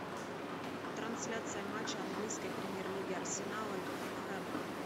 трансляция матча английской премьер лиги арсенала и тоттенхэма